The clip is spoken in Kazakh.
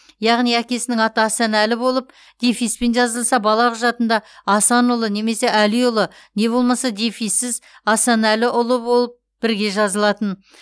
яғни әкесінің аты асан әлі болып дефиспен жазылса бала құжатында асанұлы немесе әлиұлы не болмаса дефиссіз асанәліұлы болып бірге жазылатын